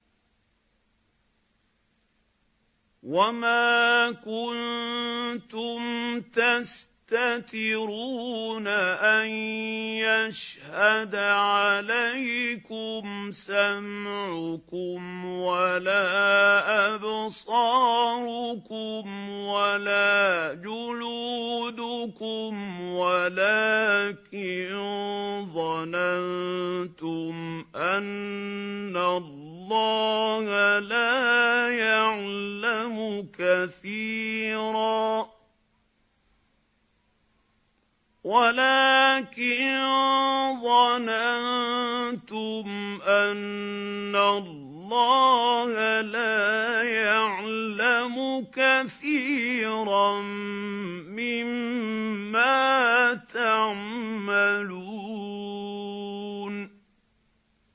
وَمَا كُنتُمْ تَسْتَتِرُونَ أَن يَشْهَدَ عَلَيْكُمْ سَمْعُكُمْ وَلَا أَبْصَارُكُمْ وَلَا جُلُودُكُمْ وَلَٰكِن ظَنَنتُمْ أَنَّ اللَّهَ لَا يَعْلَمُ كَثِيرًا مِّمَّا تَعْمَلُونَ